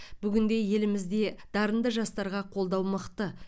бүгінде елімізде дарынды жастарға қолдау мықты